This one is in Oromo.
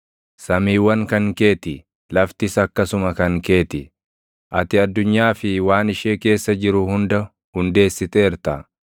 Samiiwwan kan kee ti; laftis akkasuma kan kee ti; ati addunyaa fi waan ishee keessa jiru hunda hundeessiteerta.